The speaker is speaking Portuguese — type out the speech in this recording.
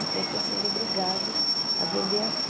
Então, eu estou sendo obrigado a vender aqui.